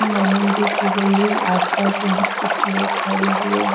Naming भी की गई है आसपास यहां कुछ लोग खड़े हुए हैं।